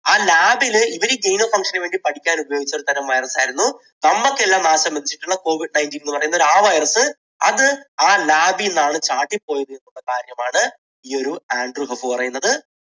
ആ lab ൽ ഇവർ genome function ന് വേണ്ടി പഠിക്കാൻ ഉപയോഗിച്ച് ഒരു തരം virus ആയിരുന്നു നമുക്കെല്ലാം നാശം വിധിച്ചിട്ടുള്ള covid nineteen എന്നുപറയുന്ന ആ virus. അത് ആ lab ൽ നിന്നാണ് ചാടി പോയത് എന്ന കാര്യമാണ് ഈയൊരു ആൻഡ് ഹഫ് പറയുന്നത്.